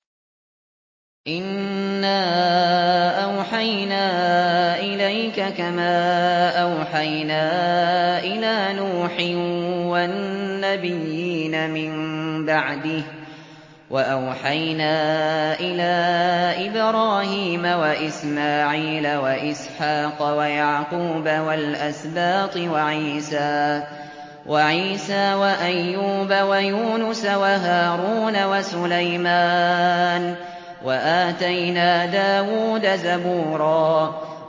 ۞ إِنَّا أَوْحَيْنَا إِلَيْكَ كَمَا أَوْحَيْنَا إِلَىٰ نُوحٍ وَالنَّبِيِّينَ مِن بَعْدِهِ ۚ وَأَوْحَيْنَا إِلَىٰ إِبْرَاهِيمَ وَإِسْمَاعِيلَ وَإِسْحَاقَ وَيَعْقُوبَ وَالْأَسْبَاطِ وَعِيسَىٰ وَأَيُّوبَ وَيُونُسَ وَهَارُونَ وَسُلَيْمَانَ ۚ وَآتَيْنَا دَاوُودَ زَبُورًا